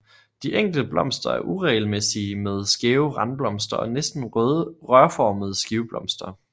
De enkelte blomster er uregelmæssige med skæve randblomster og næsten rørformede skiveblomster